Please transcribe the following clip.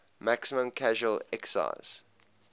maximum casual excise